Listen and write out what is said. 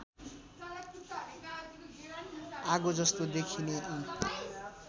आगोजस्तो देखिने यी